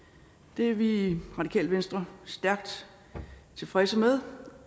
det er vi i radikale venstre stærkt tilfredse med